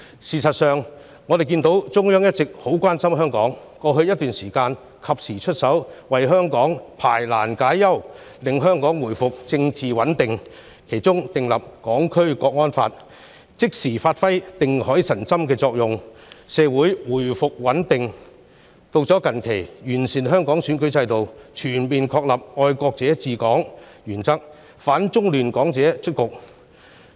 事實上，中央一直很關心香港，兩度出手為香港排難解憂，令香港回復政治穩定：第一，訂立《香港國安法》能夠即時發揮定海神針的作用，令香港社會回復穩定；第二，制訂完善香港選舉制度，全面確立"愛國者治港"原則，亦令反中亂港者出局。